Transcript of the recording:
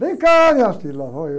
Vem cá, minha filha, lá vou eu...